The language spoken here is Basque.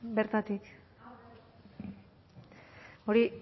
bertatik hori